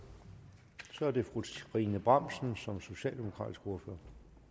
så er det fru trine bramsen som socialdemokratisk ordfører